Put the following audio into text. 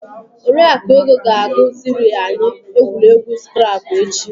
Oriakụ Ego ga agụ ziri anyị egwuregwu skrabụ echi.